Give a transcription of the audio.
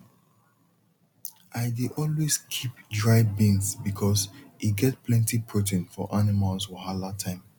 i dey always keep dry beans because e get plenty protein for animal wahala time